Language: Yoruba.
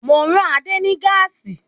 Mo rán Adé ní gáàsì